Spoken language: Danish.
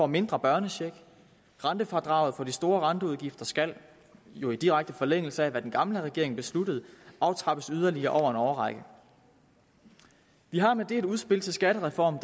mindre børnecheck og rentefradraget på de store renteudgifter skal jo i direkte forlængelse af hvad den gamle regering besluttede aftrappes yderligere over en årrække vi har med det et udspil til skattereform